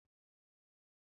Anyi na-acho âkwà ndina anyị acho